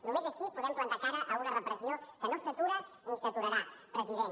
només així podem plantar cara a una repressió que no s’atura ni s’aturarà president